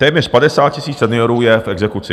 Téměř 50 000 seniorů je v exekuci.